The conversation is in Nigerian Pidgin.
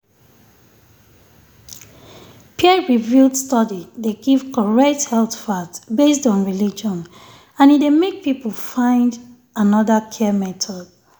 peer-reviewed study dey give correct health fact based on religion and e dey make people find another care method.